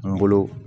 N bolo